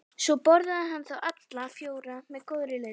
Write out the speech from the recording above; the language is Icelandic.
Svo borðaði hann þá alla fjóra með góðri lyst.